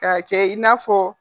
K'a kɛ i n'a fɔ